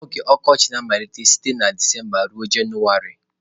Oge Okochị na-amalite site na Disemba ruo Jenụwarị.